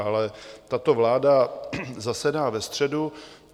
Ale tato vláda zasedá ve středu.